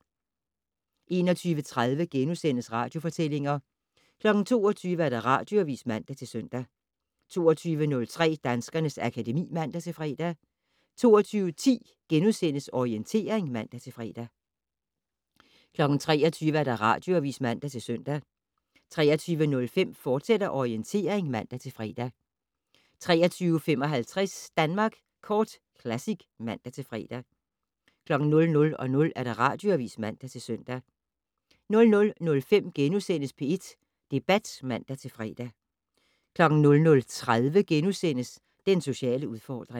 21:30: Radiofortællinger * 22:00: Radioavis (man-søn) 22:03: Danskernes akademi (man-fre) 22:10: Orientering *(man-fre) 23:00: Radioavis (man-søn) 23:05: Orientering, fortsat (man-fre) 23:55: Danmark Kort Classic (man-fre) 00:00: Radioavis (man-søn) 00:05: P1 Debat *(man-fre) 00:30: Den sociale udfordring *